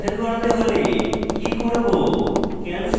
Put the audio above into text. ticket cancel করাতে হলে কি করব